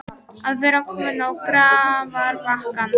Að vera kominn á grafarbakkann